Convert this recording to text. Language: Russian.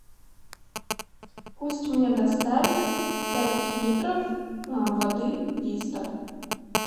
пусть мне доставят пять литров воды виста